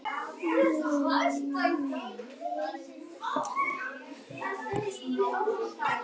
tvær þeirra eru afar skyldar og í daglegu tali kallast þær svín